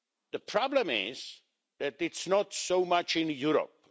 The problem is that it's not so much in Europe.